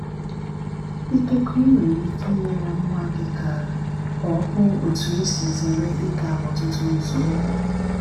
Ikekwe ị nwere ike inyere nwa gị ka ka ọ hụ otú e si zere ịga ọtụtụ nzọụkwụ.